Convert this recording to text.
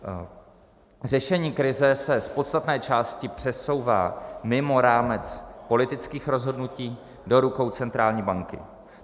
Řešení krize se z podstatné části přesouvá mimo rámec politických rozhodnutí, do rukou centrální banky.